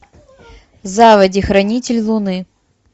заводи хранитель луны